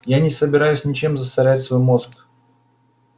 я не собираюсь ничем засорять свой мозг